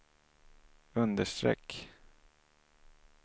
understreck